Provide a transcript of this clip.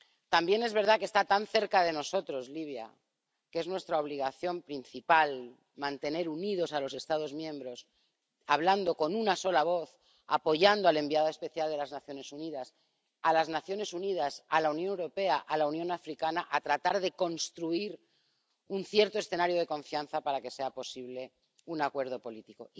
También es verdad que está tan cerca de nosotros Libia que es nuestra obligación principal mantener unidos a los Estados miembros, hablando con una sola voz, apoyando al enviado especial de las Naciones Unidas, a las Naciones Unidas, a la Unión Europea, a la Unión Africana, para tratar de construir un cierto escenario de confianza para que sea posible un acuerdo político.